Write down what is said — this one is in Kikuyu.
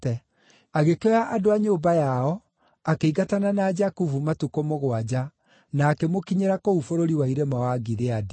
Agĩkĩoya andũ a nyũmba yao, akĩingatana na Jakubu matukũ mũgwanja na akĩmũkinyĩra kũu bũrũri wa irĩma wa Gileadi.